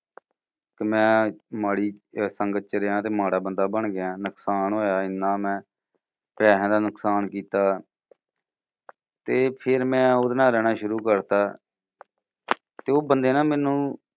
ਕਿ ਮੈਂ ਮਾੜੀ ਸੰਗਤ ਚ ਰਿਹਾ ਤੇ ਮਾੜਾ ਬੰਦਾ ਬਣ ਗਿਆ। ਨੁਕਸਾਨ ਹੋਇਆ ਏਨਾ ਮੈਂ, ਪੈਸਿਆਂ ਦਾ ਨੁਕਸਾਨ ਕੀਤਾ ਤੇ ਫੇਰ ਮੈਂ ਓਹਦੇ ਨਾਲ ਰਹਿਣਾ ਸ਼ੁਰੂ ਕਰ ਦਿੱਤਾ। ਤੇ ਉਹ ਬੰਦੇ ਨਾ ਮੈਨੂੰ